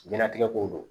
Jiyɛn latigɛ ko don